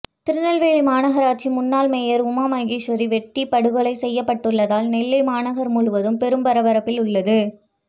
திருநெல்வேலி மாநகராட்சி முன்னாள் மேயர் உமா மகேஸ்வரி வெட்டிப் படுகொலை செய்யப்பட்டுள்ளதால் நெல்லை மாநகர் முழுவதும் பெரும் பரபரப்பில் உள்ளது